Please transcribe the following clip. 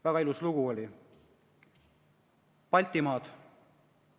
Väga ilus lugu oli – "Ärgake, Baltimaad".